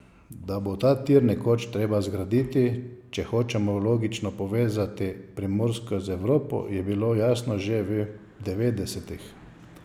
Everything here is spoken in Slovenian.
Da bo ta tir nekoč treba zgraditi, če hočemo logistično povezati Primorsko z Evropo, je bilo jasno že v devetdesetih.